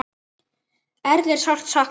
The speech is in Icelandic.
Erlu er sárt saknað.